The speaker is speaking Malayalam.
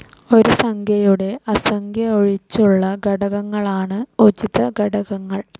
ഒരു സംഖ്യയുടെ ആ സംഖ്യയൊഴിച്ചുള്ള ഘടകങ്ങളാണ് ഉചിത ഘടകങ്ങൾ.